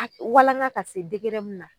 A walaŋa ka se degere min na